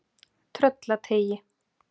Tröllateigi